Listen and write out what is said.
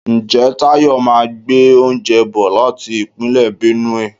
Ǹjẹ́ Tayọ máa gbé oúnjẹ bò láti Ìpínlẹ̀ Benue?